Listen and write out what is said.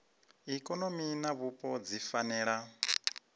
ikonomi na vhupo dzi fanela